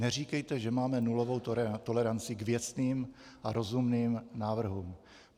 Neříkejte, že máme nulovou toleranci k věcným a rozumným návrhům.